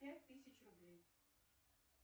пять тысяч рублей